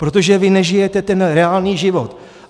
Protože vy nežijete ten reálný život.